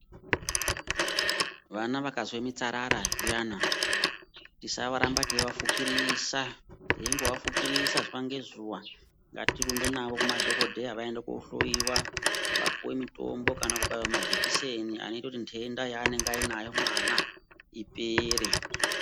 Vana vakazwe mitsarara zviyani, tisarambe teivafukirisa, teindovafukirisa zuwa ngezuwa, ngatirumbe navo kumadhokodheya vaende koohloiwa, vapuwe mitombo kana kubaiwe majekiseni anoite kuti nthenda yeanenge anayo mwana ipere.